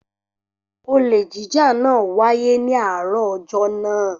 Olè jíjà náà wáyé ní àárọ̀ ọjọ́ náà.